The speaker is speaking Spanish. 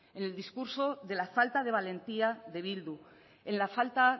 en el discurso de la falta de valentía de bildu en la falta